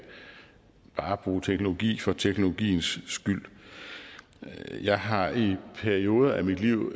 bruge teknologi for teknologiens skyld jeg har i en periode af mit liv